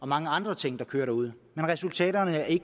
mange andre ting der kører derude men resultaterne af